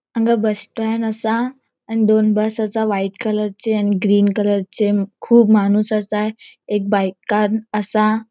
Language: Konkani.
हांगा बस स्टैन्ड असा आणि दोन बस असा व्हाइट कलरचे आणि ग्रीन कलरचे खुब माणूस असा एक बाइकान आसा.